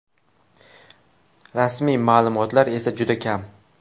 Rasmiy ma’lumotlar esa juda kam.